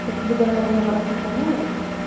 короче либо она его много раз сохраняла